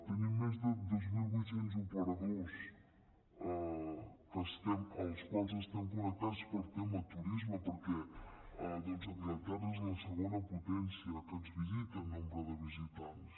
tenim més de dos mil vuit cents operadors amb els quals estem connectats pel tema turisme perquè doncs anglaterra és la segona potència que ens visita en nombre de visitants